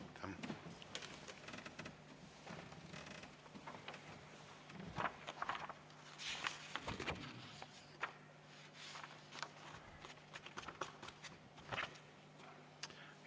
Aitäh!